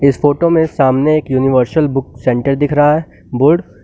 इस फोटो में सामने एक यूनिवर्सल बुक सेंटर दिख रहा है बोर्ड ।